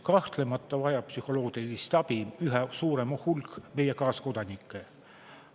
Kahtlemata vajab psühholoogilist abi üha suurem hulk meie kaaskodanikke.